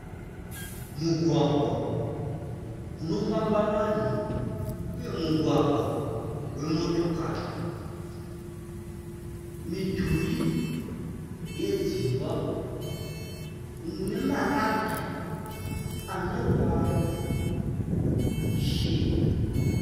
mugwagwa unofamba vanhu uye mugwagwa wemotokari, midhuri yedzimba unemarata ane ruvara ruchena.